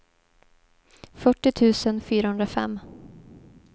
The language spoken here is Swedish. fyrtio tusen fyrahundrafem